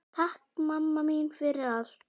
Takk mamma mín fyrir allt.